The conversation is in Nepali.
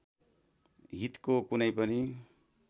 हितको कुनै पनि